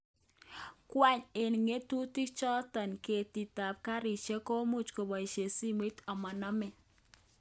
Ngwony eng ngotutik choton, ketik ab garishek komuch koboishen simoit omonome.